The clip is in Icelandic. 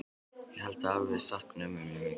Ég held að afi sakni ömmu mjög mikið.